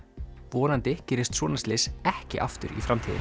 vonandi gerist svona slys ekki aftur í framtíðinni